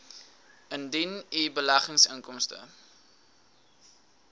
indien u beleggingsinkomste